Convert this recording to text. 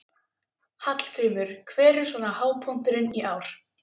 Hallgrímur, hver er svona hápunkturinn í ár?